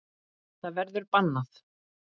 Það verður bannað.